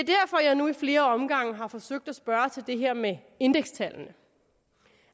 er nu i flere omgange har forsøgt at spørge til det her med indekstallene